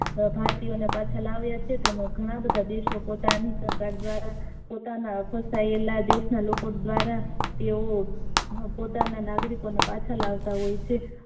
ભારતીયો ને પાંછા લાવીયા છે તેમ જ ઘણા બધા દેશો પોતાની સરકાર દ્વારા પોતાના દેશ ના લોકો દ્વારા તેવો પોતાના નાગરિકો ને પાછા લાવતા હોય છે